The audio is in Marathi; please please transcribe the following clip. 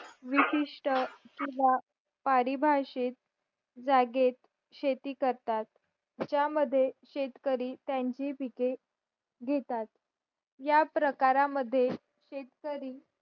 विशिष्ट किंवा परिभाषित जागेत शेती करतात ज्यामध्ये शेतकरी त्यांची पिके घेतात या प्रकारात मद्ये शेतकरी